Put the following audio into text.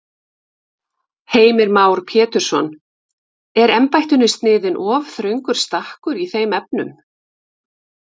Heimir Már Pétursson: Er embættinu sniðinn of þröngur stakkur í þeim efnum?